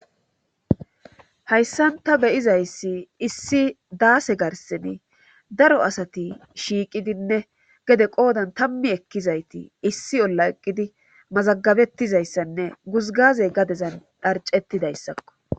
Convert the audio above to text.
hayssan ta beyizayssi issi daase garseni daro asati shiiqidinne gede qoodan tammi ekkizayti issi olla eqqidi mazagabettizayssanne guzgazey gadezan dharcettidayssakko